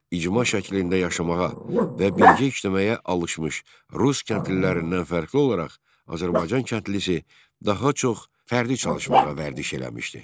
İcma şəklində yaşamağa və birgə işləməyə alışmış rus kəndlilərindən fərqli olaraq, Azərbaycan kəndlisi daha çox fərdi çalışmağa vərdiş eləmişdi.